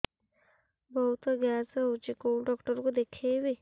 ବହୁତ ଗ୍ୟାସ ହଉଛି କୋଉ ଡକ୍ଟର କୁ ଦେଖେଇବି